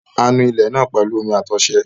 A nu ilẹ̀ náà pẹ̀lú omí àti ọṣẹ.